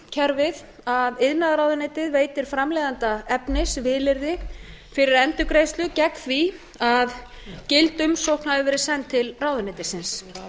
kerfið að iðnaðarráðuneytið veitir framleiðanda efnisvilyrði fyrir endurgreiðslu gegn því að gild umsókn hafi verið send til ráðuneytisins